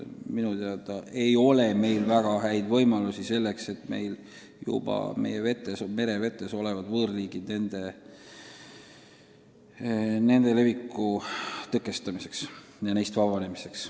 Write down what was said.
Minu teada ei ole meil väga häid võimalusi meie merevetes juba olevate võõrliikide leviku tõkestamiseks ja neist vabanemiseks.